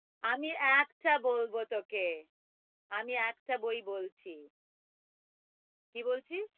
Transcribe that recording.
আমি একটা বলব তোকে আমি একটা বই বলছি কি বলছিস?